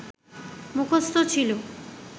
মুখস্থ ছিল